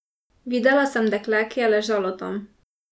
Videla sem dekle, ki je ležalo tam.